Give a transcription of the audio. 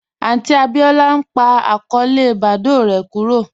Aunti Abíọlá n pa akọọlẹ Badoo rè kúrò